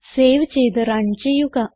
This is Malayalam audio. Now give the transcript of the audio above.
സേവ് ചെയ്ത് റണ് ചെയ്യുക